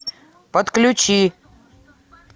подключи